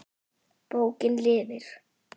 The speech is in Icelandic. Bókin lifir!